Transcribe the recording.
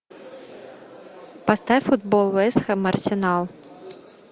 поставь футбол вест хэм арсенал